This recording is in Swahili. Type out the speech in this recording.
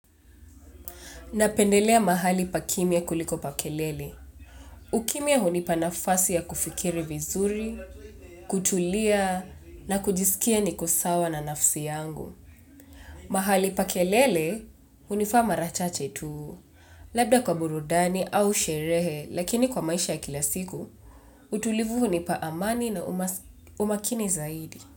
Napendelea mahali pa kimya kuliko pa kelele. Ukimya hunipa nafasi ya kufikiri vizuri, kutulia na kujisikia niko sawa na nafsi yangu. Mahali pa kelele, hunifaa mara chache tu. Labda kwa burudani au sherehe, lakini kwa maisha ya kila siku, utulivu hunipa amani na umakini zaidi.